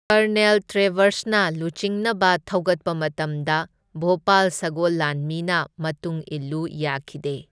Colonel ꯇ꯭ꯔꯦꯚꯔꯁꯅ ꯂꯨꯆꯤꯡꯅꯕ ꯊꯧꯒꯠꯄ ꯃꯇꯝꯗ ꯚꯣꯄꯥꯜ ꯁꯒꯣꯜ ꯂꯥꯟꯃꯤꯅ ꯃꯇꯨꯡ ꯏꯂꯨ ꯌꯥꯈꯤꯗꯦ꯫